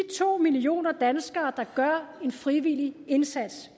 to millioner danskere der gør en frivillig indsats